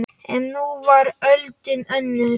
En nú var öldin önnur.